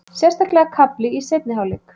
Sérstaklega kafli í seinni hálfleik.